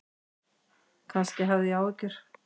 Kannski hafði ég áhyggjur.